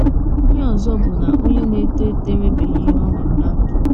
Ihe ọzọ bụ na onye na - eto eto enwebeghị ihe ọ hụrụ ná ndụ.